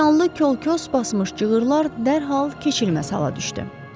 Tikanlı kol-kos basmış cığırlar dərhal keçilməz hala düşdü.